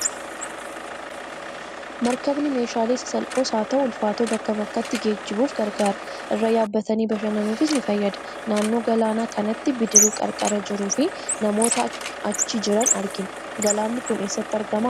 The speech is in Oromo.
Maarkabni meeshaalee sasalphoos haa ta'u, ulfaatoo bakkaa bakkatti geejjibuuf gargaara. Irra yaabbatanii bashannanuufis ni fayyada. Naannoo galaana kanaatti bidiruu qarqara jiruu fi namoota chi jiran argina. Galaanni kun eessatti argama?